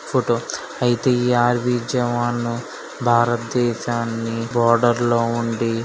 Photo army jawan భారతదేశాన్ని border నుండి.